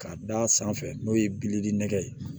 K'a d'a sanfɛ n'o ye bilili nɛgɛ ye